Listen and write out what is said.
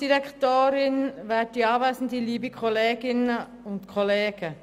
Wir kommen zu den Einzelsprecherinnen und Einzelsprechern.